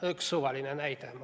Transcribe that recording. Üks suvaline näide.